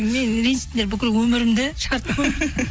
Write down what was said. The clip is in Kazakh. мені ренжіттіңдер бүкіл өмірімді